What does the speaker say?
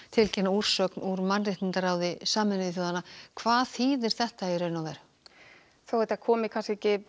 tilkynna úrsögn úr mannréttindaráði Sameinuðu þjóðanna hvað þýðir þetta þó þetta komi ekki